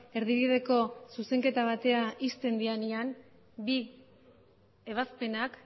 erdibideko zuzenketa bat ixten denean bi ebazpenak